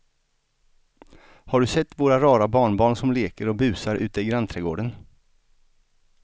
Har du sett våra rara barnbarn som leker och busar ute i grannträdgården!